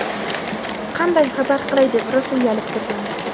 "Qanday xabar qilay deb rosa uyalib turgandim".